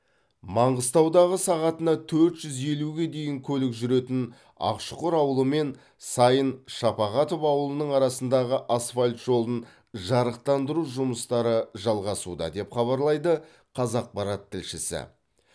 маңғыстаудағы сағатына төрт жүз елуге дейін көлік жүретін ақшұқыр ауылы мен сайын шапағатов ауылының арасындағы асфальт жолын жарықтандыру жұмыстары жалғасуда деп хабарлайды қазақпарат тілшісі